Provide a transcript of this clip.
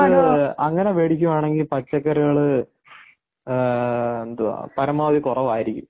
പച്ചക്കറികൾ അങ്ങനെ മേടിക്കുകയാണെങ്കിൽ പച്ചക്കറികൾ. എന്തുവാ പരമാവധി കുറവായിരിക്കും.